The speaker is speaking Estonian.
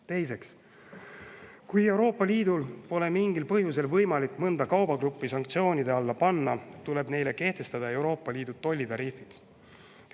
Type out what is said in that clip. Teiseks, kui Euroopa Liidul pole mingil põhjusel võimalik mõnda kaubagruppi sanktsioonide alla panna, tuleb neile kehtestada Euroopa Liidu tollitariifid.